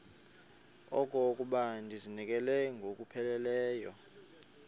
okokuba ndizinikele ngokupheleleyo